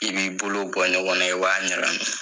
I b'i bolo bɔ ɲɔgɔn na i b'a ɲagami.